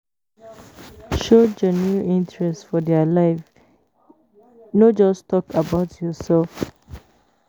Show genuine interest for their life, no just talk about yourself.